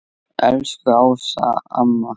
Elsku Ása amma.